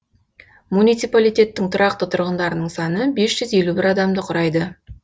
муниципалитеттің тұрақты тұрғындарының саны бес жүз елу бес адамды құрайды